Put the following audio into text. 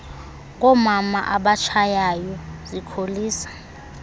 ngoomama abatshayayo zikholisa